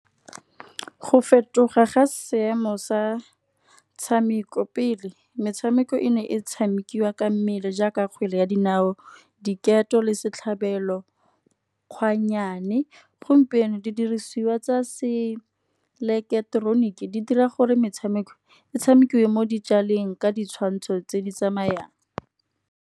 Go fetoga ga seemo sa tshameko pele, metshameko e ne e tshamikiwa ka mmele jaaka kgwele ya dinao diketo le setlhabelo kgwannyane. Gompieno, di dirisiwa tsa seileketroniki di dira gore metshameko e tshamekiwe mo dijaleng ditshwantsho tse di tsamayang.